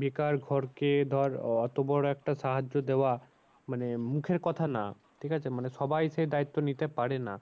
বেকার ঘরকে ধর অত বড়ো একটা সাহায্য দেওয়া মানে মুখের কথা না ঠিক আছে। মানে সবাই সে দায়িত্ব নিতে পারে না।